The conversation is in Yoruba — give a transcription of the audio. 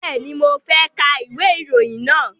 Bẹ́ẹ̀ni, mo fẹ́ ka ìwé ìròyìn náà